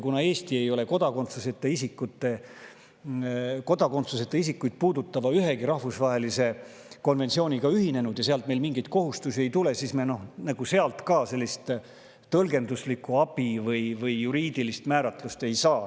Kuna Eesti ei ole ühegi kodakondsuseta isikuid puudutava rahvusvahelise konventsiooniga ühinenud ja sealt meile mingeid kohustusi ei tule, siis me sealt ka sellist tõlgenduslikku abi või juriidilist määratlust ei saa.